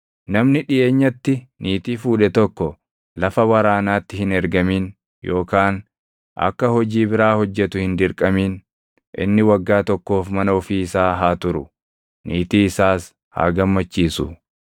Namni dhiʼeenyatti niitii fuudhe tokko lafa waraanaatti hin ergamin yookaan akka hojii biraa hojjetu hin dirqamin; inni waggaa tokkoof mana ofii isaa haa turu; niitii isaas haa gammachiisu.